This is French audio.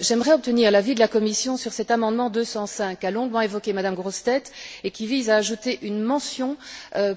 J'aimerais obtenir l'avis de la Commission sur cet amendement 205 qu'a longuement évoqué M me Grossetête, qui vise à ajouter une mention